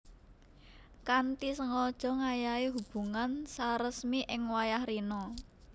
Kanthi sengaja ngayahi hubungan saresmi ing wayah rina